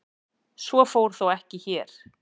Svo fór þó ekki hér.